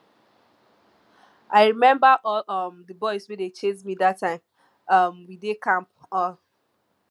i remember all um the boys wey dey chase me dat time um we dey camp um